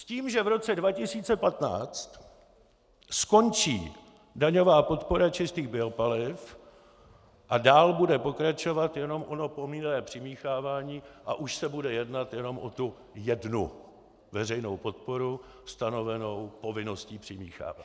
S tím že v roce 2015 skončí daňová podpora čistých biopaliv a dál bude pokračovat jenom ono povinné přimíchávání a už se bude jednat jenom o tu jednu veřejnou podporu, stanovenou povinností přimíchávat.